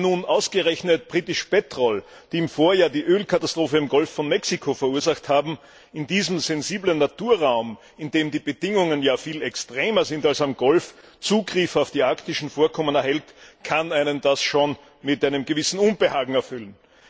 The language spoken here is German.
Wenn nun ausgerechnet das im Vorjahr die Ölkatastrophe im Golf von Mexiko verursacht hat, in diesem sensiblen Naturraum in dem die Bedingungen ja viel extremer sind als im Golf Zugriff auf die arktischen Vorkommen erhält, kann einen das schon mit einem gewissen Unbehagen erfüllen.